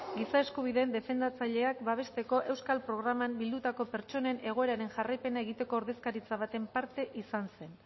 giza eskubideen defendatzaileak babesteko euskal programan bildutako pertsonen egoeraren jarraipena egiteko ordezkaritza baten parte izan zen